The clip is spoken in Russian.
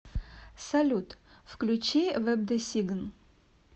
салют включи вэбдесигн